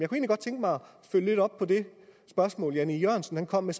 følge lidt op på det spørgsmål herre jan e jørgensen kom med